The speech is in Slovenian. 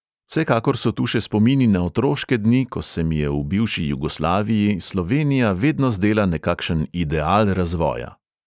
Vsekakor so tu še spomini na otroške dni, ko se mi je v bivši jugoslaviji slovenija vedno zdela nekakšen ideal razvoja.